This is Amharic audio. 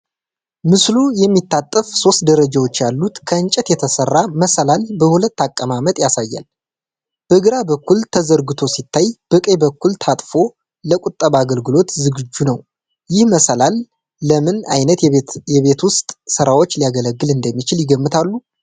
ምስሉ የሚታጠፍ፣ ሶስት ደረጃዎች ያሉት ከእንጨት የተሰራ መሰላል በሁለት አቀማመጥ ያሳያል። በግራ በኩል ተዘርግቶ ሲታይ፣ በቀኝ በኩል ታጥፎ ለቁጠባ አገልግሎት ዝግጁ ነው። ይህ መሰላል ለምን አይነት የቤት ውስጥ ስራዎች ሊያገለግል እንደሚችል ይገምታሉ?